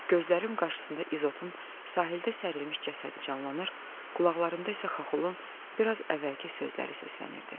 Gözlərim qarşısında İzotun sahildə sərilmiş cəsədi canlanır, qulaqlarımda isə Xaxolun biraz əvvəlki sözləri səslənirdi.